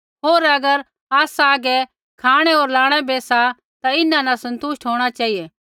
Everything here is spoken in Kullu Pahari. होर अगर आसा हागै खाँणै होर लाणै बै सा ता इन्हां न सन्तुष्ट होंणा चेहिऐ